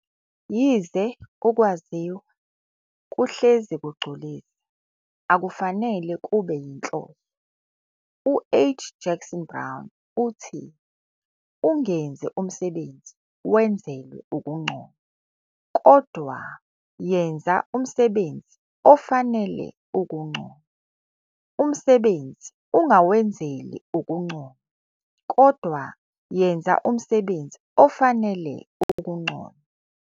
Yize ukwaziwa kuhhezi kugculisa, akufanele kube yinhloso. U-H. Jackson Brown uthi- 'ungenzi umsebenzi wenzele ukunconywa kodwa yenza umsebenzo ofanelwe ukunconywa'. 'Umsebenzi ungawenzeli ukunconywa kodwa yenza umsebenzi ofanele ukunconywa'.